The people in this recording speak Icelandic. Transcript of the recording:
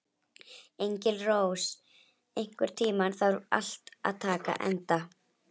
Engilrós, einhvern tímann þarf allt að taka enda.